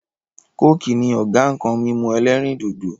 "coke" ni Ọ̀gá nkan mímu ẹlẹ́rìndòdò